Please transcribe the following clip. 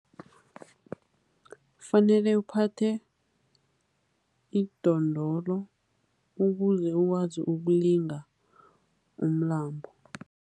Fanele uphathe idondolo ukuze ukwazi ukulinga umlambo.